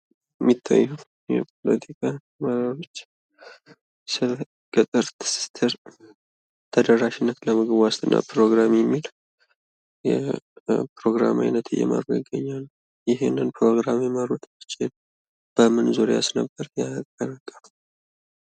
የሚታየው በኢትዮጵያ የገጠር ትስስር ተደራሽነት ለምግብ ዋስትና ፕሮግራም የሚል የፕሮግራም አይነት እየመሩ ይገኛሉ። ይህንን ፕሮግራም የመሩት እነማን ናቸው? በምን ዙሪያስ ነበር?